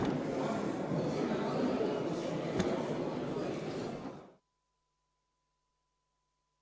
Istungi lõpp kell 10.08.